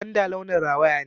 Gwanda launin rawaya ne.